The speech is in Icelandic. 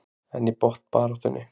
En í botnbaráttunni?